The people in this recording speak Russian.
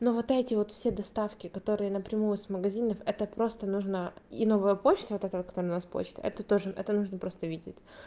ну вот эти вот все доставки которые напрямую с магазинов это просто нужно и новая почта вот это которая у нас почта это тоже это нужно просто видеть